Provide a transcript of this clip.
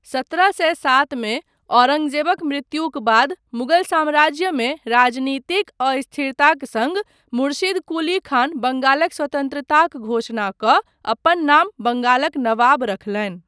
सत्रह सए सात मे औरंगजेबक मृत्युक बाद मुगल साम्राज्यमे राजनीतिक अस्थिरताक सङ्ग, मुर्शिद कुली खान बंगालक स्वतन्त्रताक घोषणा कऽ अपन नाम बंगालक नवाब रखलनि।